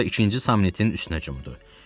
Sonra ikinci Samnitin üstünə cumdu.